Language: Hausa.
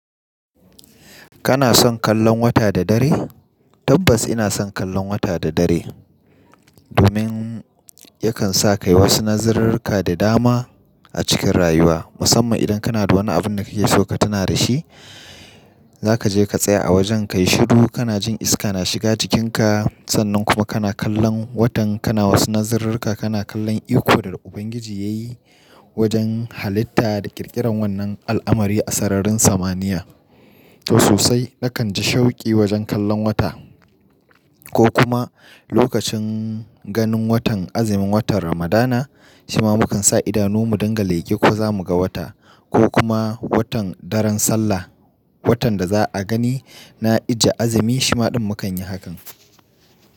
Kana son kallon wata da dare? Tabbas ina son kallon wata da dare domin yakan sa ka yi wasu nazarirrika da dama a cikin rayuwa, musamman idan kana da wani abin da kake so ka tuna da shi, za ka je ka tsaya a wajen ka yi shiru, kana jin iska na shiga jikinka, sannan kuma kana kallon watan, kana wasu nazirirra, kana kallon iko da Ubangiji ya yi wajen halitta da ƙirƙiran wannan al'amari a sararin samaniya. To sosai nakan ji shauki wajen kallon wata ko kuma lokacin ganin watan azumin watan Ramadana, shi ma mukan sa idanu mu dinga leƙe ko za mu ga wata ko kuma watan daren Sallah, watan da za a gani na Ije azumi shima ɗin mukan yi hakan.